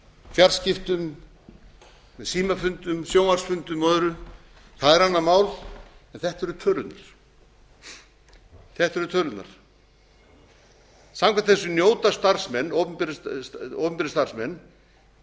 fjarskiptum með símafundum sjónvarpsfundum og öðru það er annað mál en þetta eru tölurnar þetta eru tölurnar samkvæmt þessu njóta starfsmenn opinberir starfsmenn